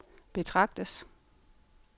betragtes